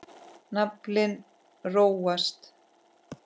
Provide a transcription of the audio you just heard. Naflinn róast.